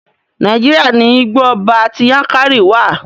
Nàíjíríà ní Igbó ọba ti Yankari wa.